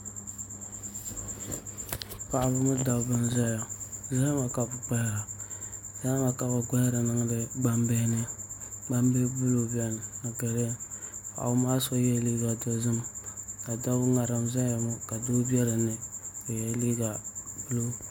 Paɣaba ni dabba n ʒɛya zahama ka bi gbahari niŋdi gbambihi ni gbambili buluu biɛni ni giriin paɣaba maa so yɛla liiga dozim ŋarim n ʒɛya ŋɔ ka doo bɛ dinni ka yɛ liiga buluu